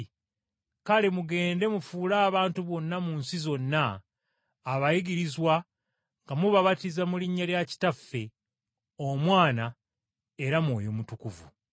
Kale mugende mufuule abantu bonna mu nsi zonna, abayigirizwa nga mubabatiza mu linnya lya Kitaffe, Omwana era Mwoyo Mutukuvu.